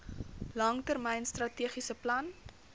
langtermyn strategiese plan